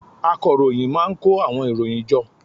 Akọròyìn má a n kó àwọn ìròyìn jọ